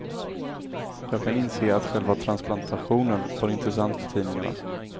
Jag kan inse att själva transplantationen var intressant för tidningarna.